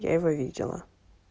я его видела